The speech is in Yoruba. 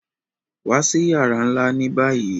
Wa sí yàrà nlá ni báyìí!